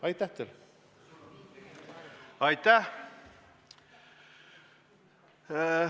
Aitäh!